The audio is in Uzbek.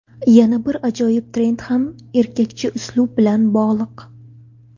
Yana bir ajoyib trend ham erkakcha uslub bilan bog‘liq.